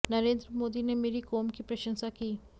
नरेंद्र मोदी ने मेरी कोम की प्रशंसा की